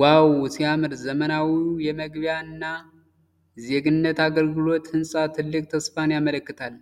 ዋው ሲያምር! ዘመናዊው የመግቢያ እና ዜግነት አገልግሎት ህንፃ ትልቅ ተስፋን ያመለክታል።